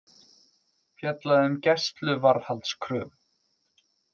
Fjallað um gæsluvarðhaldskröfu